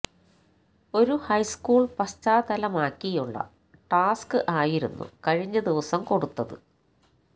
ഒരു ഹൈസ്കൂൾ പശ്ചാതലമാക്കിയുള്ള ടാസ്ക് ആയിരുന്നു കഴിഞ്ഞ ദിവസം കൊടുത്തത്